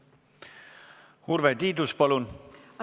Urve Tiidus, palun!